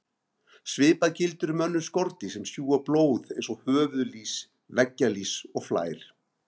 Svipað gildir um önnur skordýr sem sjúga blóð eins og höfuðlýs, veggjalýs og flær.